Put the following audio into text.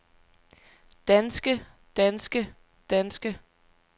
danske danske danske